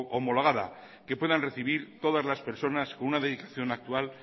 homologada que puedan recibir todas las personas con una dedicación actual